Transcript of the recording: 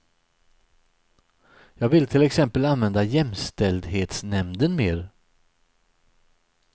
Jag vill till exempel använda jämställdhetsnämnden mer.